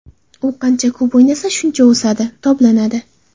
U qancha ko‘p o‘ynasa, shuncha o‘sadi, toblanadi.